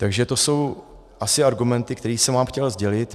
Takže to jsou asi argumenty, které jsem vám chtěl sdělit.